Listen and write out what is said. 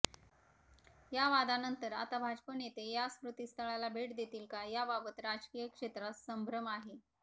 या वादानंतर आता भाजप नेते या स्मृतिस्थळाला भेट देतील का याबाबत राजकीय क्षेत्रात संभ्रम आहे